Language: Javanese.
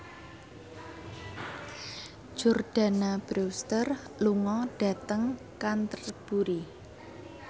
Jordana Brewster lunga dhateng Canterbury